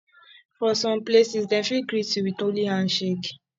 for some places dem fit greet you with only handshake